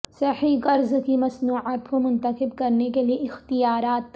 صحیح قرض کی مصنوعات کو منتخب کرنے کے لئے اختیارات